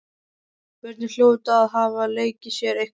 Börnin hljóta að hafa leikið sér eitthvað.